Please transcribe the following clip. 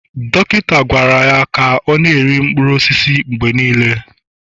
dọkịta gwara ya ka ọ na-eri mkpụrụ osisi mgbe niile